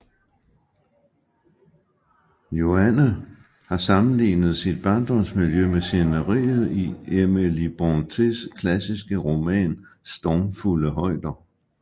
Joanne har sammenlignet sit barndomsmiljø med sceneriet i Emily Brontës klassiske roman Stormfulde højder